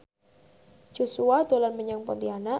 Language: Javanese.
Joshua dolan menyang Pontianak